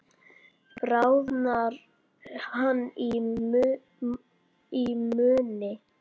Bráðnar hann í munni?